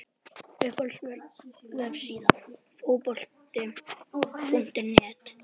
Uppáhalds vefsíða? Fótbolti.net